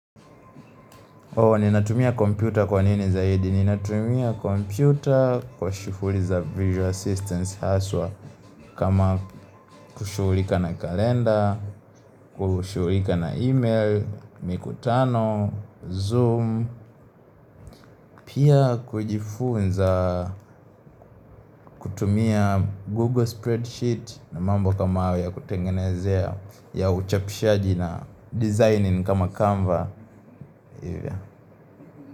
Ninatumia kompyuta kwa nini zaidi, ninatumia kompyuta kwa shughuli za visual assistance haswa kama kushughulika na kalenda, kushughulika na email, mikutano, zoom, pia kujifunza kutumia google spreadsheet na mambo kama hayo ya kutengenezea ya uchapishaji na designing kama Canva.